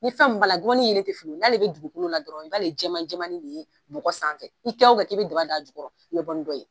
Ni san kun ma na, nkɔbani yelen tɛ flila, n'ale bɛ dugukolo la dɔrɔnw, ka b'ale jɛman jɛmani de ye bɔgɔ sanfɛ, i kɛ o kɛ ka daba don a jukɔrɔ la, i bɛ bɔ ni dɔ ye.